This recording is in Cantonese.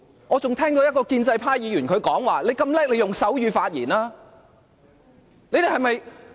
我還聽到一位建制派議員說："你那麼了不起，你用手語發言吧。